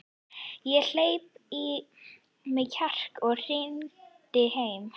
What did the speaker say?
Ég hleypti í mig kjarki og hringdi heim.